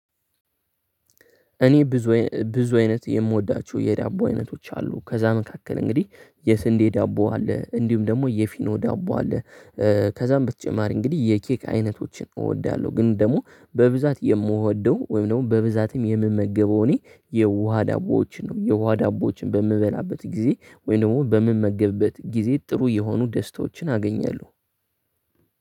እኔ ብዙ ብዙ አይነት የምወዳችሁ የዳቦ አይነቶች አሉ ከዛ መካከል እንግዲህ የስንዴ ዳቦ አለ፣ እንዲሁም ደግሞ የፊኖ ዳቦ አለ ከዛም በተጨማሪ እንግዲህ የኬክ አይነቶችን እወዳለሁ፤ ግን ደግሞ በብዛት የምወደው ወይም ደግሞ በብዛትም የምመገበው እኔ የውሃ ዳቦዎችን ነው። የውሃ ዳቦዎችን በምበላበት ጊዜ ወይንም በምመገብበት ጊዜ ጥሩ የሆኑ ደስታዎችን አገኛለሁ።